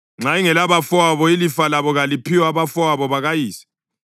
Nxa ingelabafowabo ilifa layo kaliphiwe abafowabo bakayise.